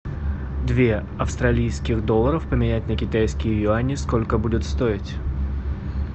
две австралийских долларов поменять на китайские юани сколько будет стоить